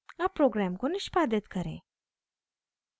अब program को निष्पादित करें